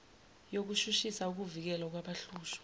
yokushushisa ukuvikelwa kwabahlushwa